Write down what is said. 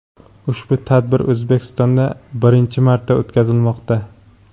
Ushbu tadbir O‘zbekistonda birinchi marta o‘tkazilmoqda.